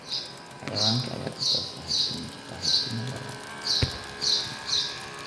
Xayawaanka ayaa dhisa saaxiibtimo waara.